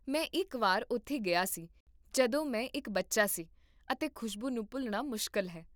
ਮੈਂ ਇੱਕ ਵਾਰ ਉੱਥੇ ਗਿਆ ਸੀ ਜਦੋਂ ਮੈਂ ਇੱਕ ਬੱਚਾ ਸੀ ਅਤੇ ਖੁਸ਼ਬੂ ਨੂੰ ਭੁੱਲਣਾ ਮੁਸ਼ਕਲ ਹੈ